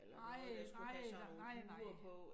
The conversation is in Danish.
Nej nej nej nej